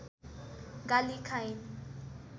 गाली खाइन्